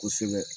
Kosɛbɛ